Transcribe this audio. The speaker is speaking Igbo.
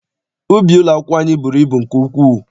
Ubi ụlọakwụkwọ anyị bụrụ ibu nke ukwuu.